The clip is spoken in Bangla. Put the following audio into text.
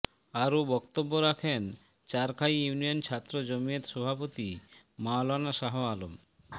আরোও বক্তব্য রাখেন চারখাই ইউনিয়ন ছাত্র জমিয়ত সভাপতি মাওলানা শাহ আলম